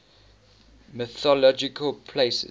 mythological places